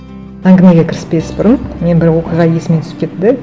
әңгімеге кіріспес бұрын мен бір оқиға есіме түсіп кетті де